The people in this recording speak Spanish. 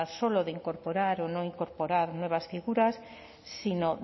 solo de incorporar o no incorpora nuevas figuras sino